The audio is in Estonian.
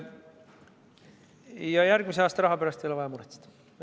Ja järgmise aasta raha pärast ei ole vaja muretseda.